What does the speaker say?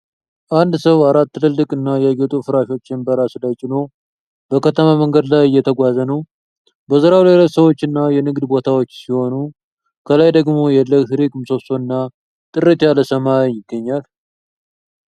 አንድ ሰው አራት ትልልቅ እና ያጌጡ ፍራሾችን በራሱ ላይ ጭኖ፣ በከተማ መንገድ ላይ እየተጓዘ ነው። በዙሪያው ሌሎች ሰዎች እና የንግድ ቦታዎች ሲሆኑ ከላይ ደግሞ የኤሌክትሪክ ምሰሶ እና ጥርት ያለ ሰማይ ይገኛል።